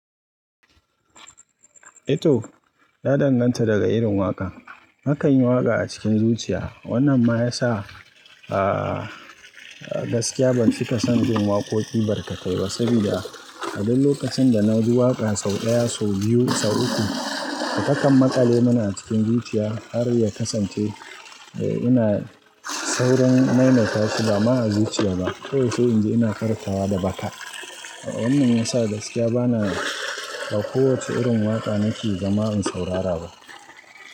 Eh to, ya danganta daga irin waƙa. Nakanyi waƙa a cikin zuciya wannan ma ya sa, gaskiya ban cika son jin waƙoƙi barkatai ba saboda a duk lokacin da na ji waƙa sau ɗaya, sau biyu, sau uku, takan maƙale mini a cikin zuciya har ya kasance ina saurin maimaita su ba ma azuciya ba. Kawai inji ina farkawan da baka. Wannan ya sa gaskiya bana ba kowacce irin waƙa nake zama in saurara ba.